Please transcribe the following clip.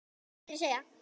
Hvað heitir þessi eyja?